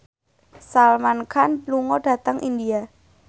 Salman Khan lunga dhateng India